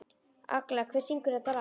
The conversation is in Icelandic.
Agla, hver syngur þetta lag?